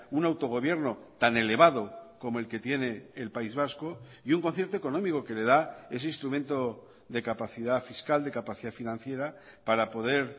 un autogobierno tan elevado como el que tiene el país vasco y un concierto económico que le da ese instrumento de capacidad fiscal de capacidad financiera para poder